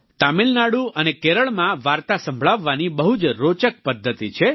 તામિલનાડુ અને કેરળમાં વાર્તા સંભળાવવાની બહુ જ રોચક પદ્ધતિ છે